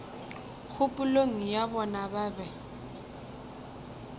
kgopolong ya bona ba be